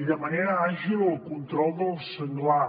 i de manera àgil el control del senglar